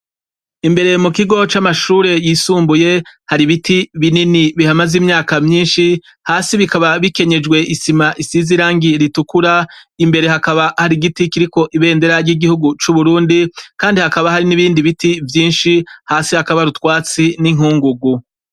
Imbere mu kigo camashure yisumbuye ,hari ibiti binini bihamaze imyaka myinshi hasi bikaba bikenyejwe isima Irangi ritukura mbere hakaba hari igiti kiriko ibendera ry igihugu cu Burundi , Kandi hakaba hari nibindi biti vyinshi ,hasi hakaba hari utwatsi ninkungugu.